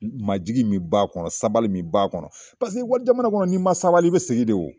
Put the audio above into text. Majigin min b'a kɔnɔ sabali min b'a kɔnɔ paseke walijamana kɔnɔ n'i ma sabali i bɛ segin de wo.